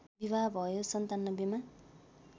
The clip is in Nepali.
विवाह भयो ९७ मा